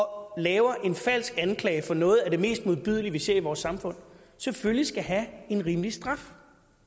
og laver en falsk anklage for noget af det mest modbydelige vi ser i vores samfund selvfølgelig skal have en rimelig straf